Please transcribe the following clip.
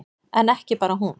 En ekki bara hún.